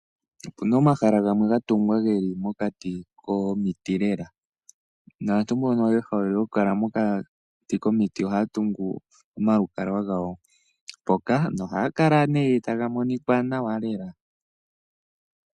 Opu na omahala gamwe ga tungwa geli mokati komiti lela, naantu mbono ye hole okukala mokati komiti ohaya tungu omalukalwa gawo mpoka, nohaga kala nee taga monika nawa lela.